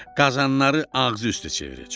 Qazanları ağzı üstə çevirəcəm.